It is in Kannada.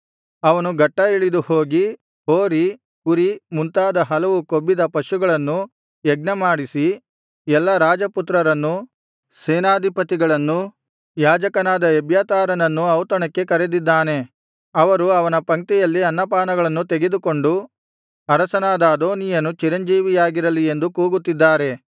ಅವನು ಗಟ್ಟಾ ಇಳಿದು ಹೋಗಿ ಹೋರಿ ಕುರಿ ಮುಂತಾದ ಹಲವು ಕೊಬ್ಬಿದ ಪಶುಗಳನ್ನು ಯಜ್ಞಮಾಡಿಸಿ ಎಲ್ಲಾ ರಾಜಪುತ್ರರನ್ನೂ ಸೇನಾಧಿಪತಿಗಳನ್ನೂ ಯಾಜಕನಾದ ಎಬ್ಯಾತಾರನನ್ನೂ ಔತಣಕ್ಕೆ ಕರೆದಿದ್ದಾನೆ ಅವರು ಅವನ ಪಂಕ್ತಿಯಲ್ಲಿ ಅನ್ನಪಾನಗಳನ್ನು ತೆಗೆದುಕೊಂಡು ಅರಸನಾದ‍ ಅದೋನೀಯನು ಚಿರಂಜೀವಿಯಾಗಿರಲಿ ಎಂದು ಕೂಗುತ್ತಿದ್ದಾರೆ